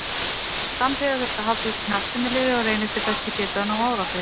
Samhliða þurfti að halda úti knattspyrnuliði og reyna eftir bestu getu að ná árangri.